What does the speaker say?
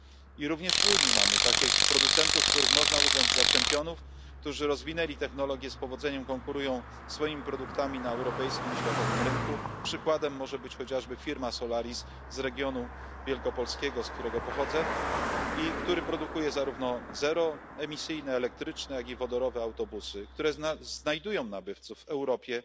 I również w Unii mamy takich producentów, których można uznać za czempionów, którzy rozwinęli technologie, z powodzeniem konkurują swoimi produktami na europejskim i światowym rynku. Przykładem może być chociażby firma Solaris z regionu wielkopolskiego, z którego pochodzę, która produkuje zarówno zeroemisyjne elektryczne, jak i wodorowe autobusy, które znajdują nabywców w Europie,